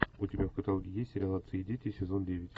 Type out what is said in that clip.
у тебя в каталоге есть сериал отцы и дети сезон девять